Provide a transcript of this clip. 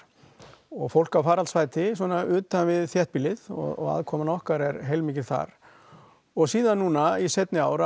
og fólk að faraldsfæti svona utan við þéttbýlið og aðkoman okkar er heilmikil þar og síðan núna seinni ár